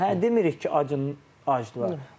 Hə, demirik ki, acın aclıdır.